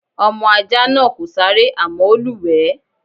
Ọmọ ajá náà kò sáré àmọ́ ó lúwẹ̀ẹ́.